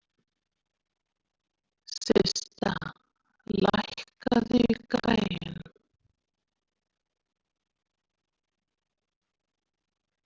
Systa, lækkaðu í græjunum.